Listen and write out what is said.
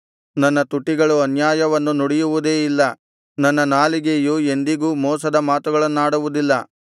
ನನ್ನ ತುಟಿಗಳು ಅನ್ಯಾಯವನ್ನು ನುಡಿಯುವುದೇ ಇಲ್ಲ ನನ್ನ ನಾಲಿಗೆಯು ಎಂದಿಗೂ ಮೋಸದ ಮಾತುಗಳನ್ನಾಡುವುದಿಲ್ಲ